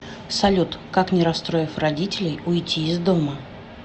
салют как не расстроив родителей уйти из дома